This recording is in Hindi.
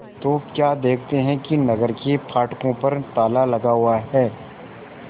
तो क्या देखते हैं कि नगर के फाटकों पर ताला लगा हुआ है